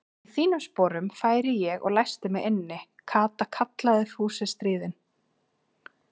Í þínum sporum færi ég og læsti mig inni, Kata kallaði Fúsi stríðinn.